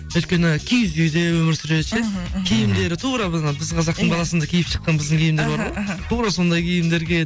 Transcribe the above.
өйткені киіз үйде өмір сүреді ше мхм мхм киімдері тура біздің ана біз қазақтың баласында киіп шыққан біздің киімдер бар ғой іхі іхі тура сондай киімдер киеді